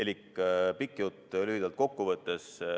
Võtan pika jutu lühidalt kokku.